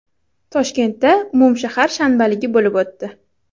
Toshkentda umumshahar shanbaligi bo‘lib o‘tdi.